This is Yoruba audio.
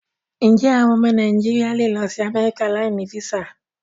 Ǹjé́ àwọn ọmọ Nàìjíríà lè lọ sí Amẹ́ríkà láì ní físà?